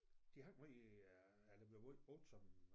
De hang meget i øh eller blev måj brugt som